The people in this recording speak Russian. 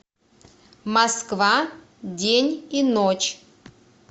москва день и ночь